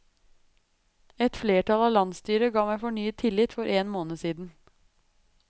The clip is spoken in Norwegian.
Et flertall av landsstyret ga meg fornyet tillit for én måned siden.